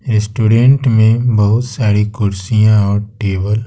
restaurant में बहुत सारी कुर्सियां और टेबल --